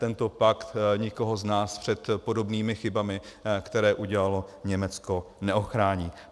Tento pakt nikoho z nás před podobnými chybami, které udělalo Německo, neochrání.